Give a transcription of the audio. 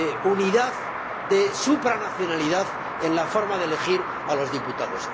unidad, de supranacionalidad, en la forma de elegir a los diputados.